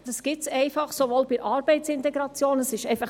Es kommt einfach vor, dass die Integration nicht gelingt.